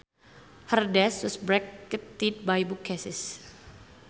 Her desk was bracketed by bookcases